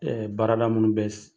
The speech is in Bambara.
Ɛɛ baarada munun bɛ